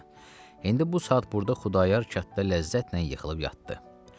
Məsələn, indi bu saat burda Xudayar kənddə ləzzətlə yıxılıb yatdı.